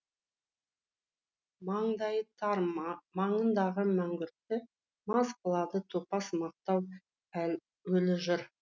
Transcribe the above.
маңдайы тар маңыңдағы мәңгүртті мас қылады топас мақтау өлі жыр